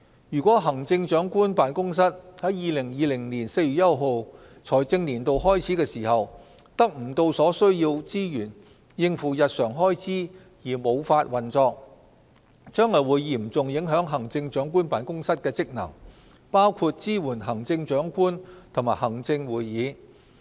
如果行政長官辦公室在2020年4月1日財政年度開始時，未能得到所需資源應付日常開支而無法運作，將會嚴重影響行政長官辦公室的職能，包括支援行政長官和行政會議。